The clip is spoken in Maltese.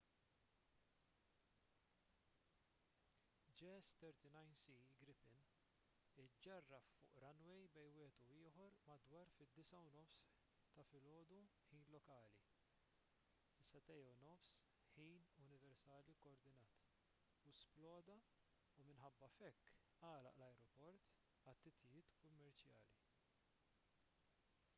jas 39c gripen iġġarraf fuq runway bejn wieħed u ieħor madwar id-9.30 am ħin lokali 0230 utc u sploda u minħabba f'hekk għalaq l-ajruport għal titjiriet kummerċjali